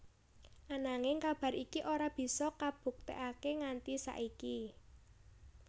Ananging kabar iki ora bisa kabuktekaké nganti saiki